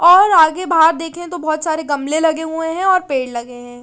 और आगे बार देखे तो बोहोत सारे गमले लगे हुए है और पेड़ लगे है।